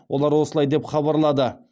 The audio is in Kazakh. олар осылай деп хабарлады